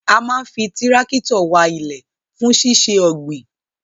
A maa n fi tirakitio wa ile fun sise ogbin